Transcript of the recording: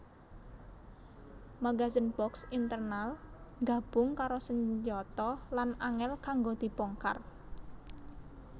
Magazen box internal nggabung karo senjata lan angel kanggo dibongkar